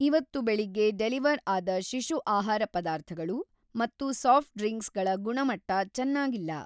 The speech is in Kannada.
ಇವತ್ತು‌ ಬೆಳಗ್ಗೆ ಡೆಲಿವರ್‌ ಆದ ಶಿಶು ಆಹಾರ ಪದಾರ್ಥಗಳು ಮತ್ತು ಸಾಫ್ಟ್‌ ಡ್ರಿಂಕ್ಸ್‌ಗಳ ಗುಣಮಟ್ಟ ಚೆನ್ನಾಗಿಲ್ಲ.